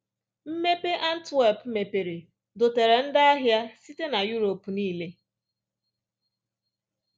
Mmepe Antwerp mepere dọtara ndị ahịa site na Europe nile.